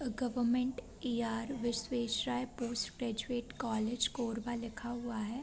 Government E R Visvesvaraya post graduate college Korba लिखा हुआ है।